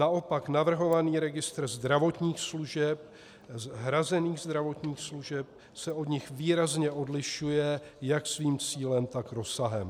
Naopak navrhovaný registr zdravotních služeb, hrazených zdravotních služeb, se od nich výrazně odlišuje jak svým cílem, tak rozsahem.